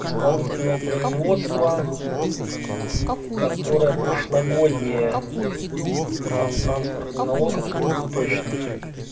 исполнительного производства которое прошлогоднее там транспортный налог абсолютно точно